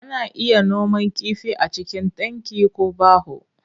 Ana iya noman kifi a cikin tanki ko baho.